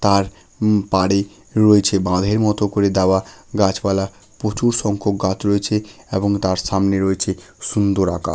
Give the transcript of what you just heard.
তার উম্ বাড়ি রয়েছে বাঁধের মতো করে দেওয়া গাছপালা প্রচুর সংখ্যক গাছ রয়েছে এবং তার সামনে রয়েছে সুন্দর আকা--